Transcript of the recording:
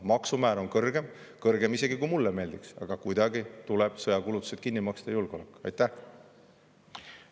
Maksumäär on kõrgem, kõrgem isegi, kui mulle meeldiks, aga kuidagi tuleb sõjakulutused kinni maksta julgeoleku.